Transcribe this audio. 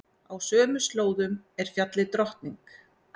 Á sömu slóðum er fjallið Drottning.